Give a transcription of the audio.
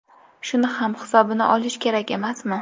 Shuni ham hisobini olish kerak emasmi?